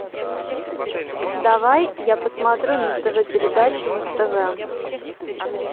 давай я посмотрю на тв передачу муз тв